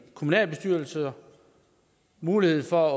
kommunalbestyrelser mulighed for